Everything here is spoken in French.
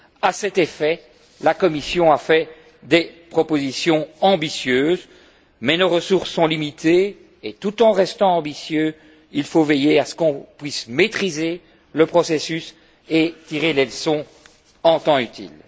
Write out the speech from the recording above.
À cet effet, la Commission a fait des propositions ambitieuses, mais nos ressources sont limitées, et tout en restant ambitieux, il faut veiller à ce qu'on puisse maîtriser le processus et tirer les leçons en temps utile.